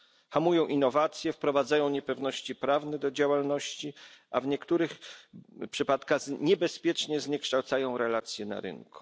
Hamują innowacje, wprowadzają niepewności prawne do działalności, a w niektórych przypadkach niebezpiecznie zniekształcają relacje na rynku.